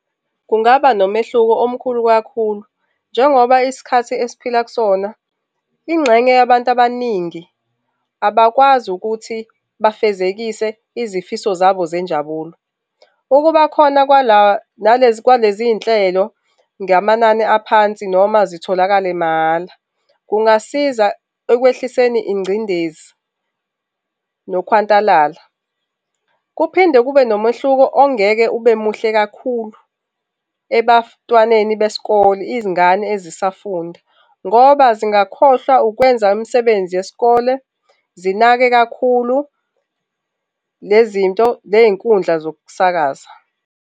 Kungaba nomehluko omkhulu kakhulu njengoba isikhathi esiphila kusona, ingxenye yabantu abaningi abakwazi ukuthi bafezekise izifiso zabo zenjabulo. Ukuba khona kwalezinhlelo ngamanani aphansi noma zitholakale mahhala kungasiza ekwehliseni ingcindezi, nokuhwantalala, kuphinde kube nomehluko ongeke ube muhle kakhulu ebantwaneni besikole, izingane ezisafunda ngoba zingakhohlwa ukwenza imisebenzi yesikole, zinake kakhulu lezi zinto ney'nkundla zokusakaza.